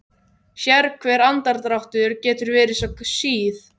Sérhver andardráttur getur verið sá síð